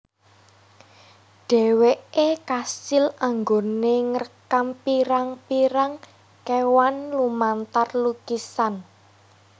Dheweke kasil anggone ngrekam pirang pirang kewan lumantar lukisan